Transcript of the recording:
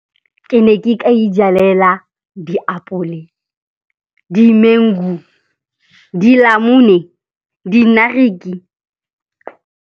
Ke ne ke ka ijalela diapole, di-mango, dinamune, dinariki.